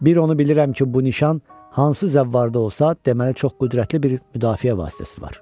Bir onu bilirəm ki, bu nişan hansı zəvarda olsa, deməli çox qüdrətli bir müdafiə vasitəsi var.